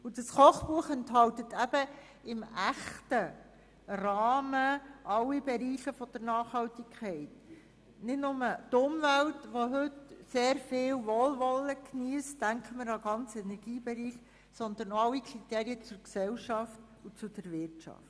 Dieses Kochbuch enthält eben in einem echten Rahmen alle Bereiche der Nachhaltigkeit, nicht nur den Umweltbereich, der heute sehr viel Wohlwol len geniesst – man denke an den ganzen Energiebereich –, sondern ebenfalls alle Kriterien zu Gesellschaft und Wirtschaft.